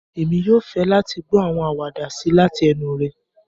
Èmi yoo fẹ láti gbọ àwọn àwàdà sii lati enu rẹ.